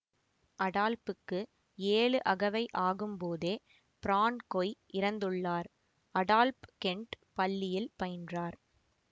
அடால்ப்புக்கு ஏழு அகவை ஆகும்போதே பிரான்கொய் இறந்துள்ளார் அடால்ப் கெண்ட் பள்ளியில் பயின்றார்